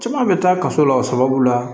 Caman bɛ taa kaso la o sababu la